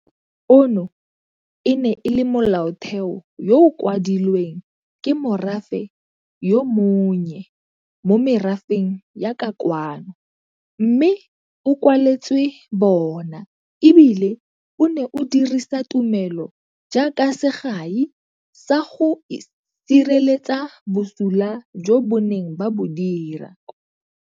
Ono e ne e le Molaotheo yo o kwadilweng ke morafe yo monnye mo merafeng ya ka kwano mme o kwaletswe bona, e bile o ne o dirisa tumelo jaaka segai sa go sireletsa bosula jo ba neng ba bo dira.